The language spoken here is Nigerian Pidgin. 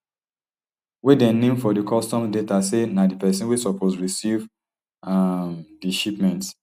wey dem name for di customs data say na di pesin wey suppose recieve um di shipment